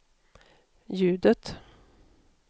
ljudet